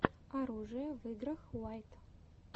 оружие в играх уайт